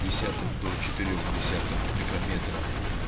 десятых до четырёх десятых микрометра